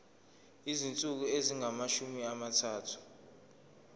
izinsuku ezingamashumi amathathu